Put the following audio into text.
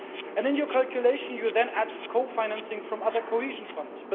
And in your calculation you then add co financing from other cohesion funds.